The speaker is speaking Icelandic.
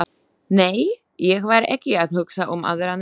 Nei, ég var ekki að hugsa um aðra nemendur.